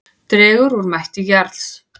Dregur úr mætti Jarls